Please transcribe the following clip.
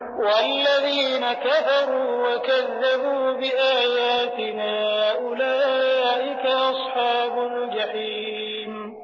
وَالَّذِينَ كَفَرُوا وَكَذَّبُوا بِآيَاتِنَا أُولَٰئِكَ أَصْحَابُ الْجَحِيمِ